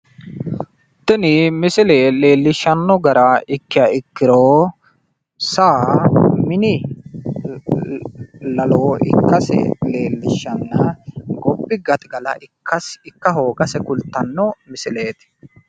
Tini misile leellishshanno gara ikkayi ikkiro saa mini lalo ikkase leellishshannoha ikkanna gobba gaxigala ikka hoogase kultanno misileeti.